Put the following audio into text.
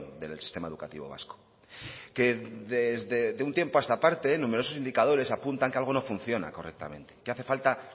del sistema educativo vasco que de un tiempo a esta parte numerosos indicadores apuntan que algo no funciona correctamente que hace falta